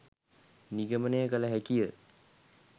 නිගමනය කළ හැකි ය.